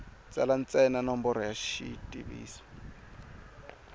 tsala ntsena nomboro ya xivutiso